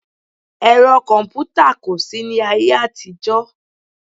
Ẹ̀rọ kọ̀mpútà kò sí ní ayé àtijọ́